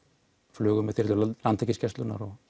flugu með þyrlu Landhelgisgæslunnar og